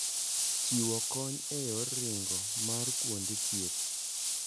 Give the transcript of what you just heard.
Chiwo konyo eyor ringo maar kuonde thieth.